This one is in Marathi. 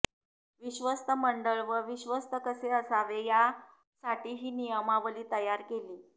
विश्वस्त मंडळ व विश्वस्त कसे असावे या साठीही नियमावली तयारी केली